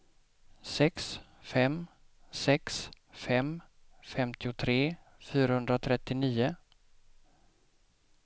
sex fem sex fem femtiotre fyrahundratrettionio